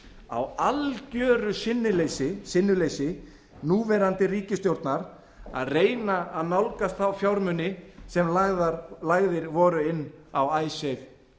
á algeru sinnuleysi núverandi ríkisstjórnar að reyna að nálgast þá fjármuni sem lagðir voru inn á icesave